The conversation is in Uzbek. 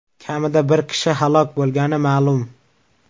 Kamida bir kishi halok bo‘lgani ma’lum .